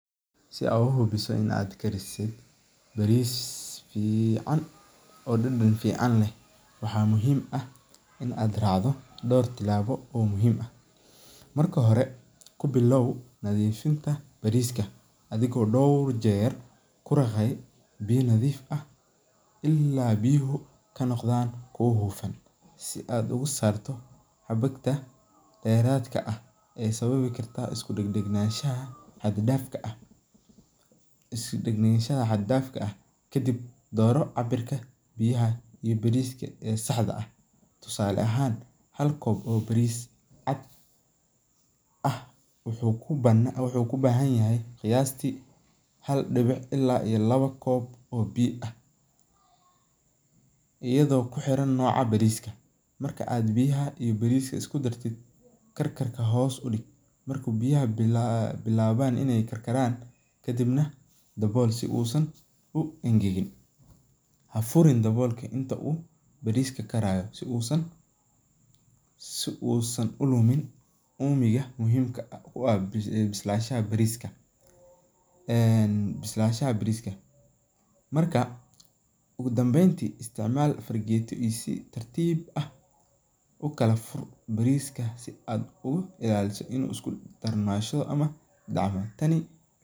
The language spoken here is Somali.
Si aad uhubiso inaad karise bariis fican oo dadan fican leh, waxaa muhiim ah in aad raacdo door tilaabo oo muhiim ah, marka hore kubiloow nadiifinta bariiska adhigo door jeer ku daqaaya biya nadiif ah ilaa biyahu kanoqdaan kuwa hufan, si aad ugu saarto xubunta deeradka ah ee sababi karta is dagdagnashaha xad daafka ah, kadib dooro cabirka biyaha iyo bariiska ee saxda ah, tusaale ahaan hal koob ee bariis cad ah wuxuu kubahan yahay qayaasti hal dibic ilaa iyo laba koob oo biya ah, iyado kuxiran nooca bariiska, marka aad biyaha iyo bariiska isku dartid karkarka hoos udig marka biyaha bilaaban inaay karaan kadibna dabool si aay san u engegin, hafurin daboolka inta uu bariiska karaayo si uu san ulumin uumiga muhiimka ah, bislashaha bariiska marka, ugu danbeyn isticmaal farageetadiisa, si tartiib ah ukala fur bariiska si aad u ilaaliso inuu isku darsamo.